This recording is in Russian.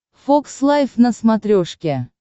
фокс лайв на смотрешке